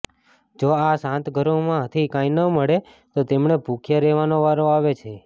જો આ સાત ઘરોમાંથી કંઈ ન મળે તો તેમણે ભૂખ્યા રહેવાનો વારો આવે છે